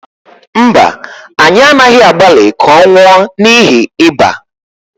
mba, anyị anaghị agbalị ka ọ nwụọ n’ihi ịba